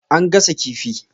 An gasa kifi.